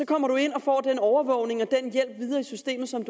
kommer ind og får den overvågning og hjælp videre i systemet som